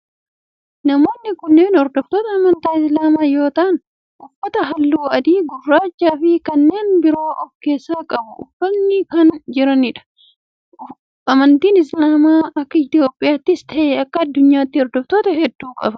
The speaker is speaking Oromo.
Namoonni kunneen hordoftoota amantii islaamaa yoo ta'aan uffata halluu adii, gurraachaa fi kanneen biroo of keessaa qabu Uffatanii kan jiranidha. Amantiin islaamaa akka Itiyoophiyaattis ta'e akka addunyaatti hordoftoota hedduu qaba.